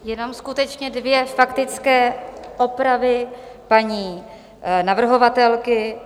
Jenom skutečně dvě faktické opravy paní navrhovatelky.